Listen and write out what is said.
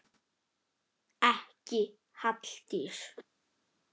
Ekki Halldís